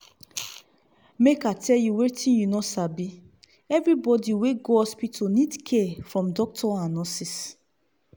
make i tell you wertting you no sabi everybody we go hospital need care from doctor and nurses.